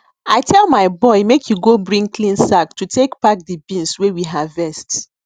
i tell my boy make e go bring clean sack to take pack di beans wey we harvest